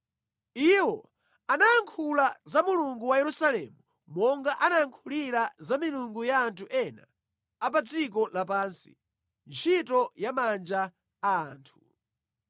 Iwo anayankhula za Mulungu wa Yerusalemu monga anayankhulira za milungu ya anthu ena a pa dziko lapansi, ntchito ya manja a anthu.